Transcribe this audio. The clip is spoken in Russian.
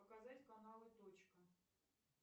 показать каналы точка